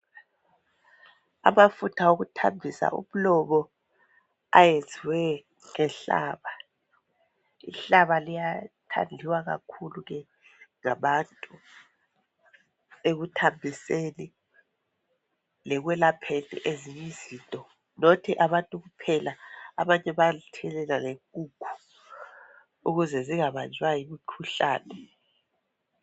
Amafutha okuthambisa umlomo ayenziwe ngenhlaba. Inhlaba liyathandiwa kakhulu ngabantu ekuthambiseni lekwelapheni ezinyizinto. Not abantu kuphela abanye bayaluthelela lenkukhu ukuze zingabanjwa yimikhuhlane.